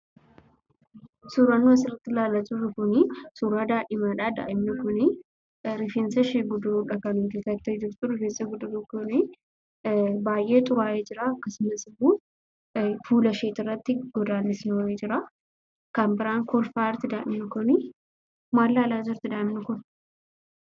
Suuraan nuti asirratti ilaalaa jirru kun, suuraa daa'imaa dha. Daa'imni kun rifeensashee guduruu dha kan guddifattee jirtu. Rifeensi guduruu kun baay'ee xuraa'ee jira. Akaasumas immoo, fuulashee irratti godaannisi wayii jira. Kan biraan kolfaa jirti daa'imni kuni. Maal ilaalaa jirti daa'imni kun?